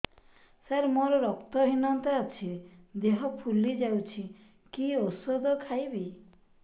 ସାର ମୋର ରକ୍ତ ହିନତା ଅଛି ଦେହ ଫୁଲି ଯାଉଛି କି ଓଷଦ ଖାଇବି